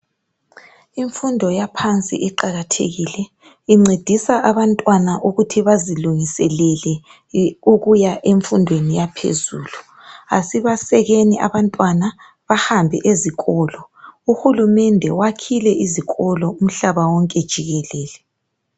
Imfundo yaphansi iqakathekile incedisa abantwana ukuthi bazilungiselele ukuya emfundweni yaphezulu asibasekeni abantwana bahambe ezikolo uhulumende uyakhile izikolo umhlaba wonke jikelele.